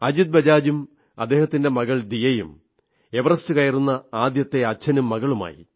അജിത് ബജാജും അദ്ദേഹത്തിന്റെ മകൾ ദിയയും എവറസ്റ്റ് കയറുന്ന ആദ്യത്തെ അച്ഛനും മകളുമായി